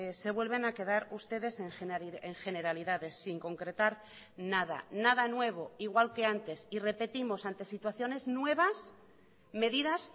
se vuelven a quedar ustedes en generalidades sin concretar nada nada nuevo igual que antes y repetimos ante situaciones nuevas medidas